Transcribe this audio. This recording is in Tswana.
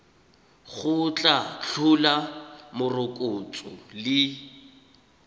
go tla tlhola morokotso le